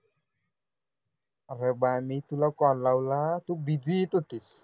अरे बाळ मी तुला call लावला तू busy येत होतीस